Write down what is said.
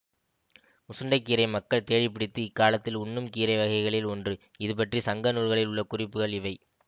முசுண்டைக்கீரை மக்கள் தேடி பிடித்து இக்காலத்தில் உண்ணும் கீரை வகைகளில் ஒன்று இதுபற்றிச் சங்கநூல்களில் உள்ள குறிப்புகள் இவை